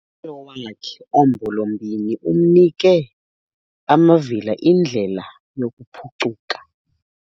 Umyalelo wakhe ombolombini unike amavila indlela yokuphuncuka.